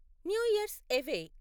new year's away